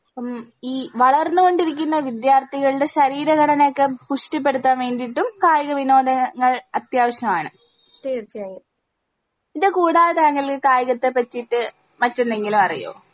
ഉം ഈ വളർന്ന് കൊണ്ടിരിക്കുന്ന വിദ്യാർഥികള്ടെ ശരീരഘടനയൊക്കെ പുഷ്ട്ടിപെടുത്താൻ വേണ്ടീട്ടും കായിക വിനോദങ്ങൾ അത്യാവിശ്യാണ് ഇത് കൂടാതെ താങ്കൾ കായികത്തെ പറ്റിട്ട് മറ്റെന്തെങ്കിലും അറിയോ